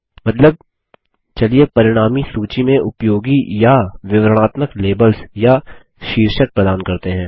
मतलब चलिए परिणामी सूची में उपयोगी या विवरणात्मक लेबल्स या शीर्षक प्रदान करते हैं